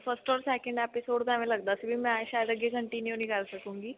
first or second episodes ਏਵੇਂ ਲਗਦਾ ਸੀ ਵੀ ਮੈਂ ਸ਼ਾਇਦ ਅੱਗੇ continue ਨਹੀਂ ਕਰ ਸਕੁੰਗੀ